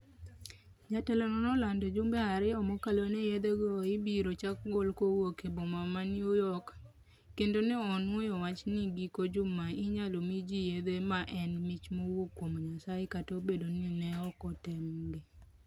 Jatelono nolando jumbe ariyo mokalo ni yethego ibiro chak gol kuwuok e boma ma New york, kendo ne onuoyo wacha ni giko juma inyalo mi ji yethe ma en mich mowuok kuom Nyasaye kata obedo ni ne ok otemgi.